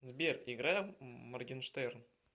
сбер играй моргенштерн